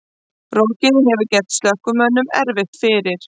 Rokið hefur gert slökkviliðsmönnum erfitt fyrir